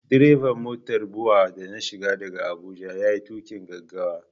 Direban motar BUA da na shiga daga Abuja ya yi tuƙin gaggawa.